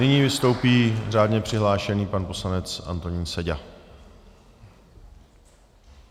Nyní vystoupí řádně přihlášený pan poslanec Antonín Seďa.